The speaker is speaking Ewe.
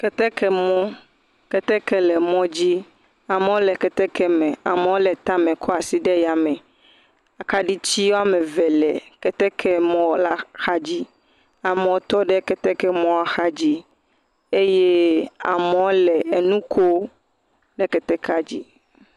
Ketekemɔ. Keteke le mɔdzi. Amewo le ketekeme. Amewo le tame kɔ asi ɖe yame. Akaɖiti woame ve le ketekemɔla xadzi. Amewo tɔ ɖe ketekemɔa xadzi eye amewo le enu koo le ketekea dzi.